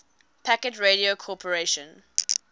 packet radio corporation